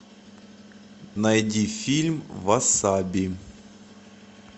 найди фильм васаби